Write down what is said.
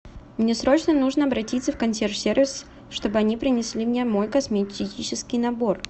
мне срочно нужно обратиться в консьерж сервис чтобы они принесли мне мой косметический набор